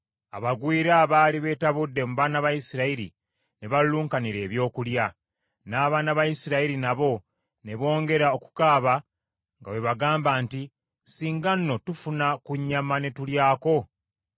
Abagwira abaali beetabudde mu baana ba Isirayiri ne baluluunkanira ebyokulya; n’abaana ba Isirayiri nabo ne bongera okukaaba nga bwe bagamba nti, “Singa nno tufuna ku nnyama ne tulyako!